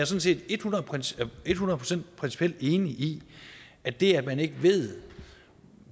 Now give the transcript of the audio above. set et hundrede procent principielt enig i at det at man ikke ved